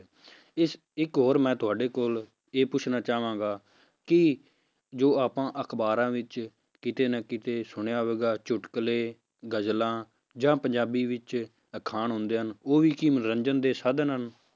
ਇਸ ਇੱਕ ਹੋਰ ਮੈਂ ਤੁਹਾਡੇ ਕੋਲ ਇਹ ਪੁੱਛਣਾ ਚਾਹਾਂਗਾ ਕਿ ਜੋ ਆਪਾਂ ਅਖ਼ਬਾਰਾਂ ਵਿੱਚ ਕਿਤੇ ਨਾ ਕਿਤੇ ਸੁਣਿਆ ਹੋਵੇਗਾ ਚੁੱਟਕਲੇ, ਗਜ਼ਲਾਂ ਜਾਂ ਪੰਜਾਬੀ ਵਿੱਚ ਅਖਾਣ ਹੁੰਦੇ ਹਨ, ਉਹ ਵੀ ਕੀ ਮਨੋਰੰਜਨ ਦੇ ਸਾਧਨ ਹਨ।